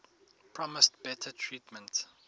promised better treatment